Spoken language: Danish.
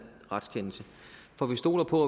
retskendelse for vi stoler på